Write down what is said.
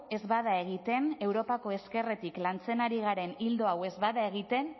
ez bada egiten europako ezkerretik lantzen ari garen ildo hau ez bada egiten